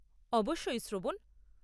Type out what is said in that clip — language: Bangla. অবশ্যই, শ্রবণ।